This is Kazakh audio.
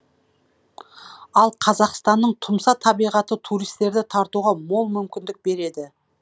ал қазақстанның тұмса табиғаты туристерді тартуға мол мүмкіндік береді